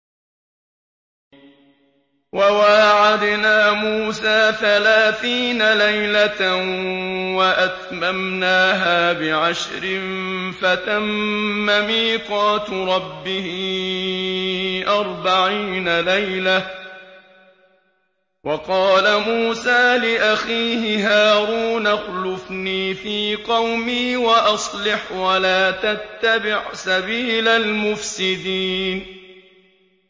۞ وَوَاعَدْنَا مُوسَىٰ ثَلَاثِينَ لَيْلَةً وَأَتْمَمْنَاهَا بِعَشْرٍ فَتَمَّ مِيقَاتُ رَبِّهِ أَرْبَعِينَ لَيْلَةً ۚ وَقَالَ مُوسَىٰ لِأَخِيهِ هَارُونَ اخْلُفْنِي فِي قَوْمِي وَأَصْلِحْ وَلَا تَتَّبِعْ سَبِيلَ الْمُفْسِدِينَ